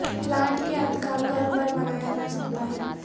plant کے ادخال گھر پر بنایا جا سکتا ہے